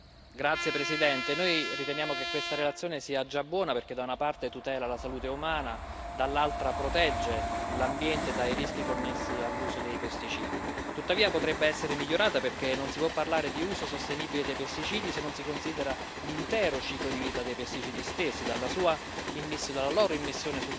Signor Presidente, onorevoli colleghi, noi riteniamo che questa relazione sia già buona, perché da una parte tutela la salute umana e dall'altra protegge l'ambiente dai rischi connessi all'uso dei pesticidi. Tuttavia, potrebbe essere migliorata, perché non si può parlare di uso sostenibile dei pesticidi se non si considera l'intero ciclo di vita dei pesticidi stessi, dalla